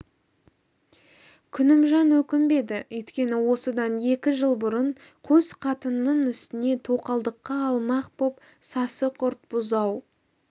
күнімжан өкінбеді өйткені осыдан екі жыл бұрын қос қатынының үстіне тоқалдыққа алмақ боп сасық ұрт бұзау